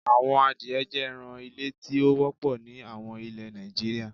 Awọn àdìẹ̀ jẹ́ ẹ̀ràn ilẹ̀ tí o wọ̀pọ̀ ní awọn ilẹ̀ Nàìjíríà